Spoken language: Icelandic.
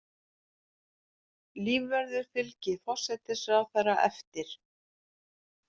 Lífvörður fylgir forsætisráðherra eftir